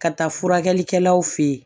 Ka taa furakɛlikɛlaw fe ye